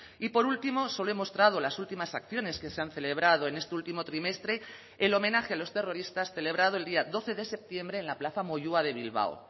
y por último solo he mostrado las últimas acciones que se han celebrado en este último trimestre el homenaje a los terroristas celebrado el día doce de septiembre en la plaza moyúa de bilbao